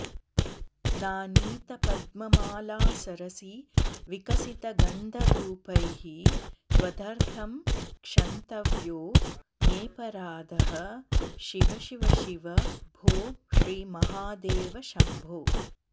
नानीता पद्ममाला सरसि विकसिता गन्धधूपैः त्वदर्थं क्षन्तव्यो मेऽपराधः शिव शिव शिव भो श्रीमहादेव शम्भो